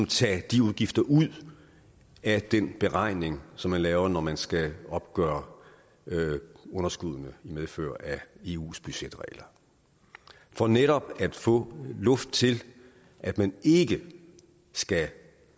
tage de udgifter ud af den beregning som man laver når man skal opgøre underskuddene i medfør af eus budgetregler for netop at få luft til at man ikke skal